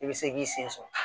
I bɛ se k'i sen sɔrɔ